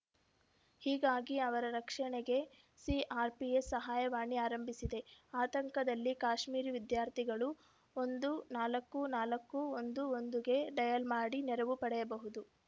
ಹೀಗಾಗಿ ಅವರ ರಕ್ಷಣೆಗೆ ಸಿಆರ್‌ಪಿಎ ಸಹಾಯವಾಣಿ ಆರಂಭಿಸಿದೆ ಆತಂಕದಲ್ಲಿರುವ ಕಾಶ್ಮೀರಿ ವಿದ್ಯಾರ್ಥಿಗಳು ಒಂದು ನಾಲ್ಕು ನಾಲ್ಕು ಒಂದು ಒಂದಗೆ ಡಯಲ್‌ ಮಾಡಿ ನೆರವು ಪಡೆಯಬಹುದು